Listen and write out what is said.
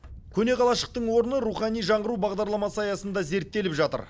көне қалашықтың орны рухани жаңғыру бағдарламасы аясында зерттеліп жатыр